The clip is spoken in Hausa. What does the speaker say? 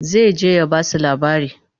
zai je ya Basu labari